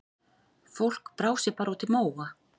Fólk brá sér bara út í móa.